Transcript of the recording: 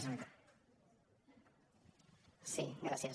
sí gràcies